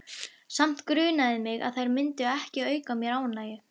Samt grunaði mig að þær myndu ekki auka mér ánægju.